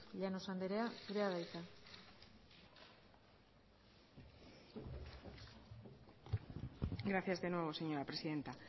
llanos anderea zurea da hitza gracias de nuevo señora presidenta